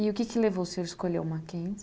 E o que que levou o senhor a escolher o Mackenzie?